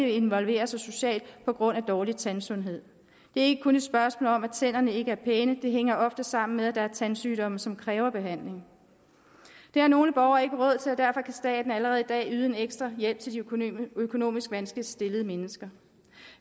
at involvere sig socialt på grund af dårlig tandsundhed det ikke kun et spørgsmål om at tænderne ikke er pæne det hænger ofte sammen med at der er tandsygdomme som kræver behandling det har nogle borgere ikke råd til og derfor kan staten allerede i dag yde en ekstra hjælp til de økonomisk vanskeligt stillede mennesker